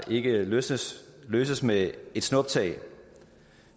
ikke løses løses med et snuptag